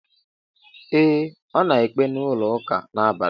Ee, ọ na ekpe n'ụlọ ụka a n'abalị.